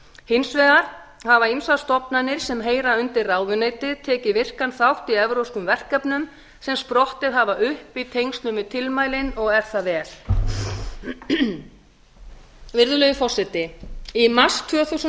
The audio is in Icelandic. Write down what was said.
hins vegar hafa ýmsar stofnanir sem heyra undir ráðuneytið tekið virkan þátt í evrópskum verkefnum sem sprottið hafa upp í tengslum við tilmælin og er það vel virðulegi forseti í mars tvö þúsund